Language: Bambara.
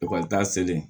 Ekɔlita selen